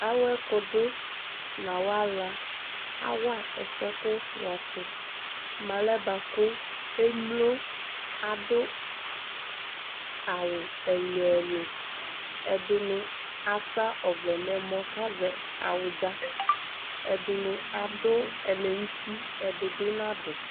awo ɛkodo no awo ala awa ɛfuɛ ko wa to mo alɛ boa ko emlo ado awu ɛlo ɛlo ɛdini asa ɔvlɛ no ɛmɔ ko azɛ awudza ɛdini ado ɛlɛnuti ɛdi bi nado